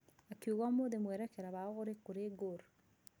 Akĩuga ũmũthĩ mwĩrekera wao ũrĩ kũri gor.